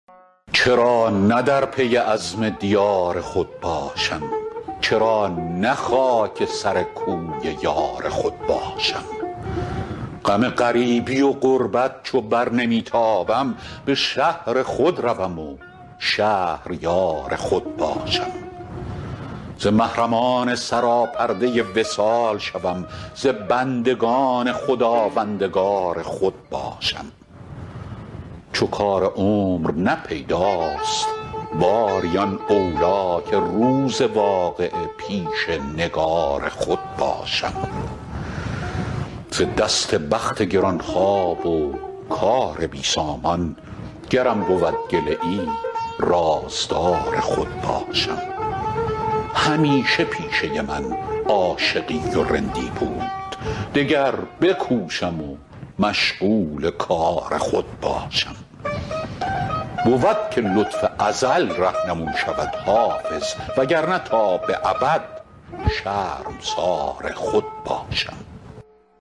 چرا نه در پی عزم دیار خود باشم چرا نه خاک سر کوی یار خود باشم غم غریبی و غربت چو بر نمی تابم به شهر خود روم و شهریار خود باشم ز محرمان سراپرده وصال شوم ز بندگان خداوندگار خود باشم چو کار عمر نه پیداست باری آن اولی که روز واقعه پیش نگار خود باشم ز دست بخت گران خواب و کار بی سامان گرم بود گله ای رازدار خود باشم همیشه پیشه من عاشقی و رندی بود دگر بکوشم و مشغول کار خود باشم بود که لطف ازل رهنمون شود حافظ وگرنه تا به ابد شرمسار خود باشم